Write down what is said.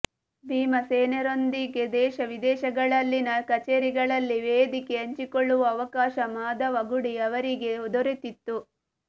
ಭೀಮಸೇನರೊಂದಿಗೆ ದೇಶ ವಿದೇಶಗಳಲ್ಲಿನ ಕಛೇರಿಗಳಲ್ಲಿ ವೇದಿಕೆ ಹಂಚಿಕೊಳ್ಳುವ ಅವಕಾಶ ಮಾಧವಗುಡಿ ಅವರಿಗೆ ದೊರೆತಿತ್ತು